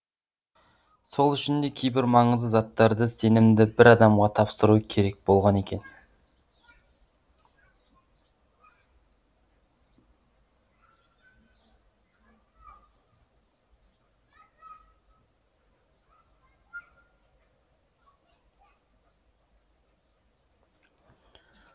сол үшін де кейбір маңызды заттарды сенімді бір адамға тапсыру керек болған екен